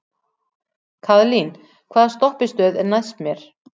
Kaðlín, hvaða stoppistöð er næst mér?